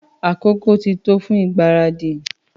Àkókò ti tó fun ìgbáradì